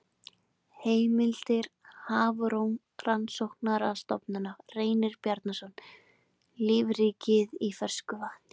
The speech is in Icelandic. Heimildir Hafrannsóknarstofnun Reynir Bjarnason, Lífríkið í fersku vatni.